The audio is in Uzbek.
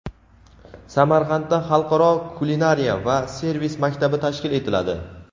Samarqandda xalqaro kulinariya va servis maktabi tashkil etiladi.